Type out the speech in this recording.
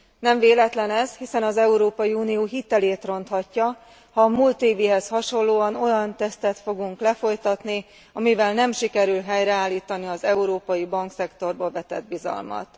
Nem véletlen ez, hiszen az Európai Unió hitelét ronthatja, ha a múlt évihez hasonlóan olyan tesztet fogunk lefolytatni, amivel nem sikerül helyreállítani az európai bankszektorba vetett bizalmat.